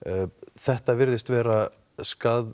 þetta virðist vera